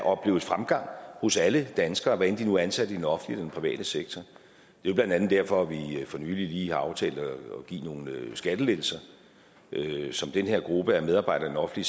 opleves fremgang hos alle danskere hvad enten de nu er ansat i den offentlige eller den private sektor det er blandt andet derfor vi for nylig har aftalt at give nogle skattelettelser som den her gruppe af medarbejdere i